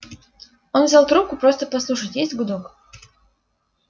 он взял трубку просто послушать есть гудок